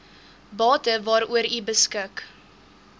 bate waaroor beskik